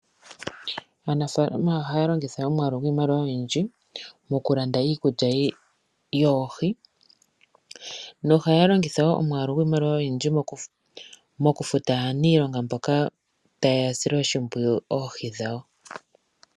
Aanafaalama ohaya longitha omwaalu gwiimaliwa oyindji mokulanda iikulya yoohi nohaya longitha wo omwaalu giimaliwa oyindji mokufuta aaniilonga mboka tayasile oshimpwiyu oohi dhawo.